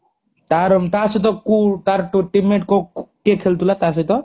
ତାର ତ ସହିତ କୋଉ ତାର teammate କିଏ ଖେଳୁଥିଲା ତା ସହିତ